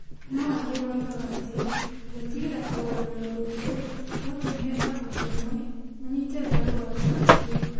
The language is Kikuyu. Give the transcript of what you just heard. No angĩ moigaga atĩ gwĩtigĩra kũrũa na ũndũ ũcio gwatũmire ambunge amwe manyite mbaru watho ũcio ,